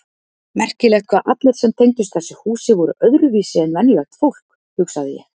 Merkilegt hvað allir sem tengdust þessu húsi voru öðruvísi en venjulegt fólk hugsaði ég.